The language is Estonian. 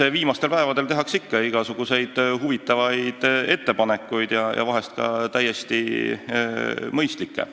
Eks viimastel päevadel tehakse ikka igasuguseid huvitavaid ettepanekuid, vahel ka täiesti mõistlikke.